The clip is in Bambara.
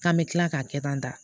K'an bɛ tila k'a kɛ tan